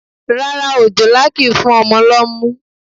Rárá òjòlá kìí fún ọmọ lọ́mú.